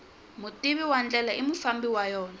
mutivi wa ndlela i mufambi wa yona